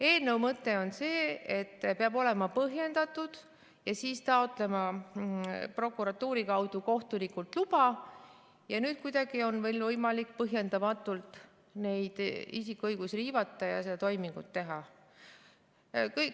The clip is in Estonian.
" Eelnõu mõte on see, et peab olema põhjendatud ja siis taotlema prokuratuuri kaudu kohtunikult luba ja nüüd kuidagi on veel võimalik põhjendamatult neid isiku õigusi riivata ja seda toimingut teha.